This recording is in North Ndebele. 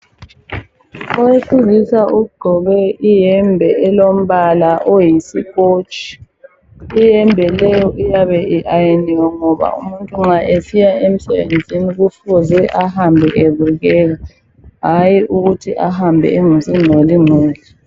Owesilisa ugqoke iyembe elombala oyisikotshi. Iyembe leyo iyabe i-ayiniwe ngoba umuntu nxa esiya emsebenzini kufuze ahambe ebukeka, hatshi ukuthi ehambe engcolile.